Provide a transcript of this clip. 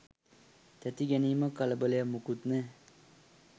තැති ගැනීමක් කලබලයක් මොකුත් නෑ.